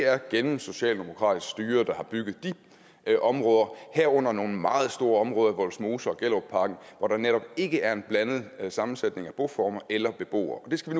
er et gennemsocialdemokratisk styre der har bygget de områder herunder nogle meget store områder vollsmose og gellerupparken hvor der netop ikke er en blandet sammensætning af boformer eller beboere det skal